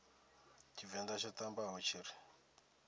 tshivenḓa tsho ṱambaho tshi ri